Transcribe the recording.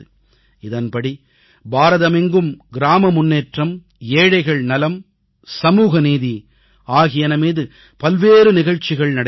இதன்படி நாடெங்கும் கிராம முன்னேற்றம் ஏழைகள் நலன் சமூகநீதி ஆகியன மீது பல்வேறு நிகழ்ச்சிகள் நடைபெறும்